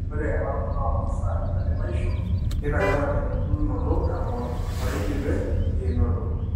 Ore elaunoto oomasaa entalipaisho neitanyamal embulunoto eng'or oeidipe einoto.